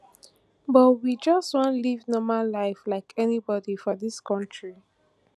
but we just wan live normal life like anybody for dis kontri